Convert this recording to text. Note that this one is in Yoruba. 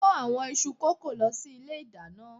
kó àwọn iṣu kókò lọ sí ilé ìdáná.